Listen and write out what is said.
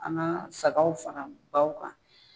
An ka sagaw fara baw kan